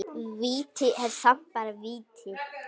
Víti er samt bara víti.